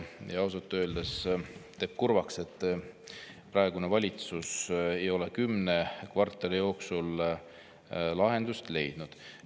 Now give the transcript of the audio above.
Ausalt öeldes teeb kurvaks, et praegune valitsus ei ole kümne kvartali jooksul lahendust leidnud.